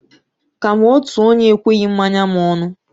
Ka m' otu onye ekweghi mmanya m ọnụ.